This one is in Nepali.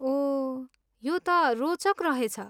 ओह, यो त रोचक रहेछ।